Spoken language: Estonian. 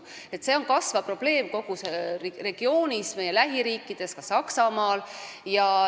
See on kasvav probleem kogu regioonis, meie lähiriikides, ka Saksamaal.